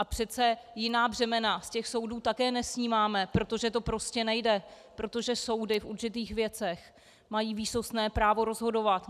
A přece jiná břemena z těch soudů také nesnímáme, protože to prostě nejde, protože soudy v určitých věcech mají výsostné právo rozhodovat.